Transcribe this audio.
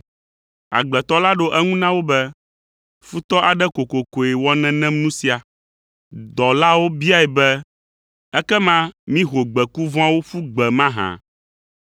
“Agbletɔ la ɖo eŋu na wo be, ‘Futɔ aɖe kokokoe wɔ nenem nu sia.’ “Dɔlawo biae be, ‘Ekema mího gbeku vɔ̃awo ƒu gbe mahã?’